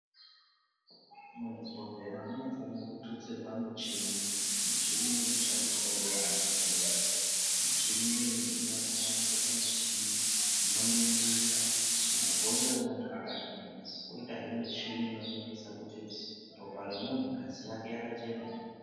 Muzvibhedhlera munofanirwa kututsirwa michini, michini inoshandiswa ngevanoshandamo, michini iyi inosanganisira michini, inoningisa kuti mabhonzo emuntu akadini, koyitahe michini inoningisa kuti ropa remuntu ngazi yake yakachena ere.